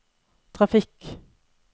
trafikk